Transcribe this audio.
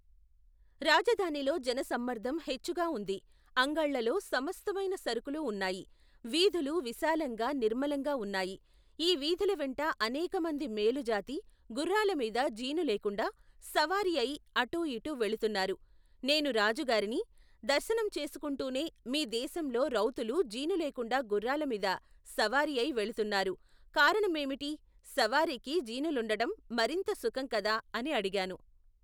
రాజధానిలో జనసమ్మర్ధం హెచ్చుగా ఉంది అంగళ్ళలో, సమస్తమైన సరుకులు ఉన్నాయి వీధులు విశాలంగా నిర్మలంగా ఉన్నాయి ఈ వీధుల వెంట అనేకమంది మేలుజాతి, గుఱ్ఱాలమీద జీను లేకుండా సవారీఅయి అటూ ఇటూ వెళుతున్నారు నేను రాజుగారిని, దర్శనం చేసుకుంటూనే మీ దేశంలో రౌతులు జీనులేకుండా గుర్రాలమీద సవారీఅయి వెళుతున్నారు కారణమేమిటి సవారీకి జీనులుండటం మరింత సుఖం కదా అని అడిగాను.